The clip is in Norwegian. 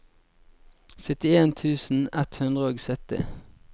syttien tusen ett hundre og sytti